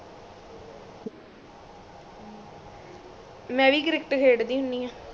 ਮੈਂ ਵੀ cricket ਖੇਡ ਦੀ ਹੁੰਦੀ ਆ